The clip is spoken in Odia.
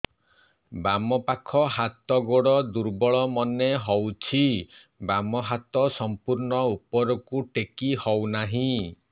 ବାମ ପାଖ ହାତ ଗୋଡ ଦୁର୍ବଳ ମନେ ହଉଛି ବାମ ହାତ ସମ୍ପୂର୍ଣ ଉପରକୁ ଟେକି ହଉ ନାହିଁ